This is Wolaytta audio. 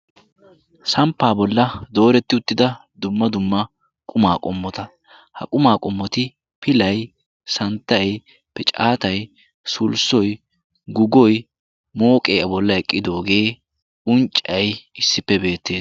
Samppa bolla dooreti uttida quma qommota,. ha qumma qommoti pilay, santtay, piccatay, sullissoy, guggoy, mooqqe a bolli eqqidooge unccay issippe beettees.